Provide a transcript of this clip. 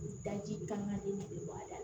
Daji kan ka den de bɔ a da la